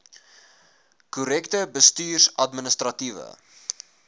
korrekte bestuurs administratiewe